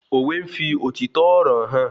Òwe n fí òtítọ́ ọ̀rọ̀ hàn